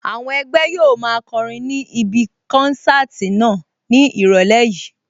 Àwọn ẹgbẹ́ yóò máa kọrin ní ibí kánsáàtì náà ní ìrọ̀lẹ́ yìí